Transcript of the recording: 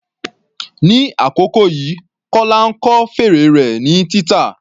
Ní àkókò yìí, Kọla ń kọ́ fèrè rẹ̀ ní títa.